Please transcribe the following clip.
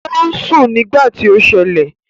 Ò ń sùn nígbà tí ó ṣẹlẹ̀